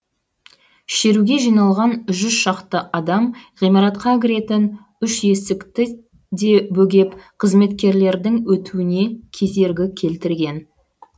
шеруге жиналған жүз шақты адам ғимаратқа кіретін үш есікті де бөгеп қызметкерлердің өтуіне кедергі келтірген